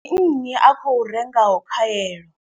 Ndi nnyi a khou rengaho khaelo.